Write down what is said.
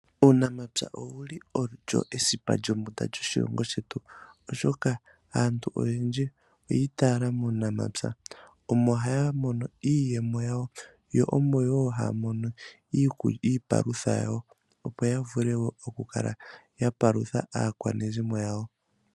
Uunamapya owuli owo esipa lyombunda lyoshilongo shetu, oshoka aantu oyendji oyi itaala muunamapya. Omo haya mono iiyemo yawo, yo omo wo haya mono iipalutha yawo opo ya vule oku kala ya palutha aakwanezimo lyawo.